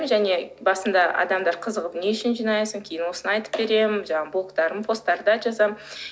және басында адамдар қызығып не үшін жинайсың кейін осыны айтып беремін жаңағы блоктарым посттарда жазамын